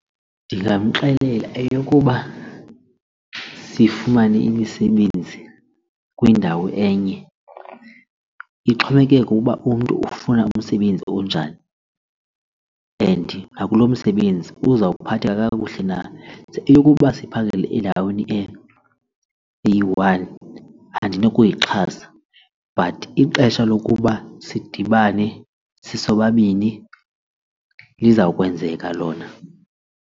Ndingamxelela eyokuba sifumane imisebenzi kwindawo enye ixhomekeke ukuba umntu ufuna umsebenzi onjani and nakulo misebenzi uzawuphatheka kakuhle na. Eyokuba siphangele endaweni eyi-one andinokuyichasa but ixesha lokuba sidibane sisobabini lizawukwenzeka lona.